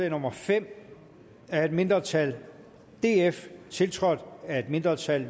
nummer fem af et mindretal tiltrådt af et mindretal